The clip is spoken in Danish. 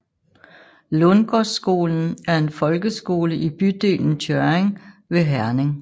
Lundgårdskolen er en folkeskole i bydelen Tjørring ved Herning